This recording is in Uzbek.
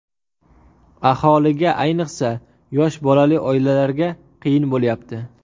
Aholiga, ayniqsa, yosh bolali oilalarga qiyin bo‘lyapti.